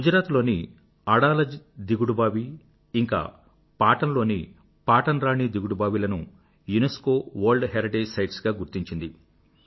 గుజరాత్ లోని అడాలజ్ దిగిడుబావి ఇంకా పాటన్ లోని పాటన్ రాణి దిగుడుబావి లను యునెస్కో వర్ల్డ్ హెరిటేజ్ సైట్స్ గా గుర్తించింది